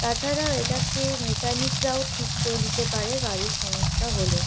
তাছাড়া এটাকে মেকানিক -রাও ঠিক করে দিতে পারে গাড়ির সমস্যা হলে।